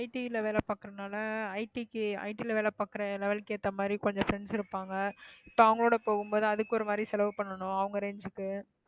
IT ல வேலை பாக்குறதுனால IT க்கு IT ல வேலை பாக்குற level க்கு ஏத்த மாதிரி கொஞ்சம் friends இருப்பாங்க. இப்போ அவங்களோட போகும் போது அதுக்கொரு மாதிரி செலவு பண்ணணும் அவங்க range க்கு.